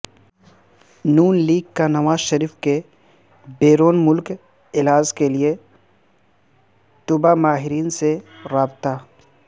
ن لیگ کا نواز شریف کے بیرون ملک علاج کیلئے طبی ماہرین سے رابطہ